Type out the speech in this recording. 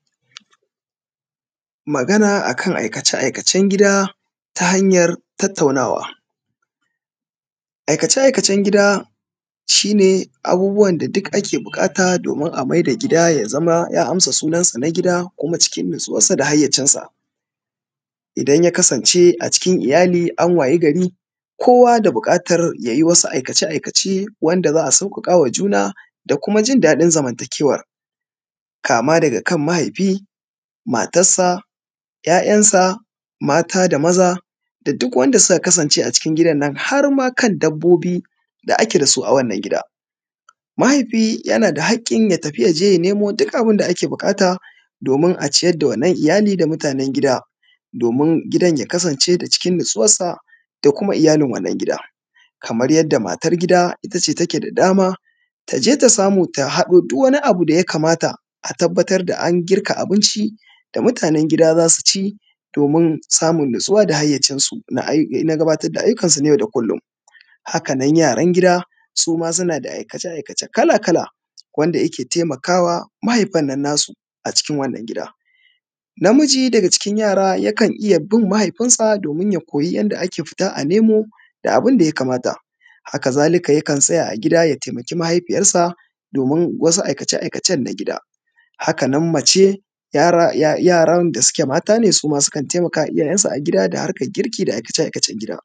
magana akan aikace-aikacen gida ta hanyan tattaunawa. Aikace-aikacen gida duk wani abu da ake buƙata domin a maida gida yaza ya amsa sunan sa na gida kuma cikin nutsuwan sa da hayyacin sa. Idan ya kasance a cikin iyali an wayi gari kowa da buƙantar yayi wasu aikace-aikace wanda za a sauka kama juna da kuma jin daɗin zamanta kewa. Kama daga kam mahaifi matassa yayassa mata da maza da duk wanda suka kasance a cikin wannan harma kan dabbobi da ake da su a wannan gida. Mahaifi yana da haƙkin ya tafi domin yaje ya nemo duk hakanan. Yaran gida suma sunada aikace-aikace kala-kala wanda yake taimakawa mahaifannan nasu a cikin wannan gida. Namiji a cikin a cikin yara yana bin mahaifinsa domin ya koyi yanda ake fitan a nemo da abunda yakada. Hakazalika yakan tsaya a gida ya taimaki mahaifiyar sa domin wasu aikace-aikacen gida. Hakanan mace yaran da suke mata ne suma sukan taimakama iyayen su da harkan girki da aikace-aikacen gida.